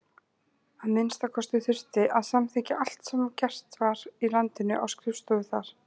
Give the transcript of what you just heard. Að minnsta kosti þurfti að samþykkja allt sem gert var í landinu á skrifstofu þar.